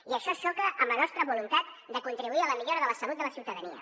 i això xoca amb la nostra voluntat de contribuir a la millora de la salut de la ciutadania